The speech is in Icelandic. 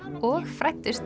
og